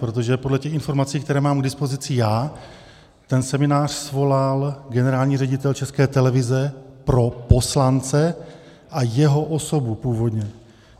Protože podle těch informací, které mám k dispozici já, ten seminář svolal generální ředitel České televize pro poslance a jeho osobu - původně.